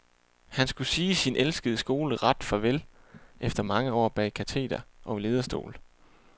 Han skulle sige sin elskede skole ret farvel efter mange år bag kateder og i lederstol.